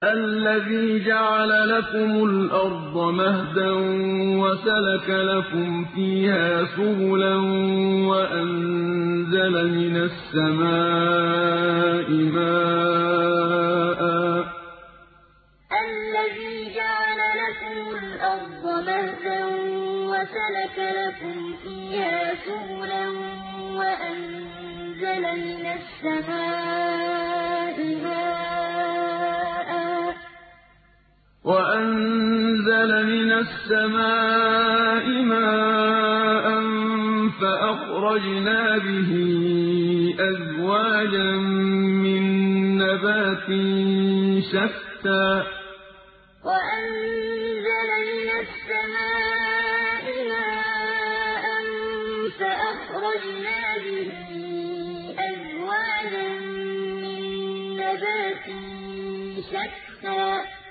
الَّذِي جَعَلَ لَكُمُ الْأَرْضَ مَهْدًا وَسَلَكَ لَكُمْ فِيهَا سُبُلًا وَأَنزَلَ مِنَ السَّمَاءِ مَاءً فَأَخْرَجْنَا بِهِ أَزْوَاجًا مِّن نَّبَاتٍ شَتَّىٰ الَّذِي جَعَلَ لَكُمُ الْأَرْضَ مَهْدًا وَسَلَكَ لَكُمْ فِيهَا سُبُلًا وَأَنزَلَ مِنَ السَّمَاءِ مَاءً فَأَخْرَجْنَا بِهِ أَزْوَاجًا مِّن نَّبَاتٍ شَتَّىٰ